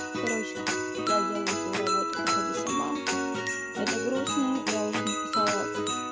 короче я делаю свою работу по ходу сама это грустно я уже написала